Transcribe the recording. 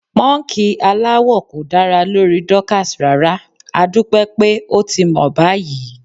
Pọ́ńkì aláwọ̀ kò dára lórí Dorcas rárá, adúpẹ́ pé ó ti mọ̀ báyìí.